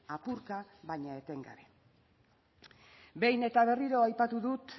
apurka baina etengabe behin eta berriro aipatu dut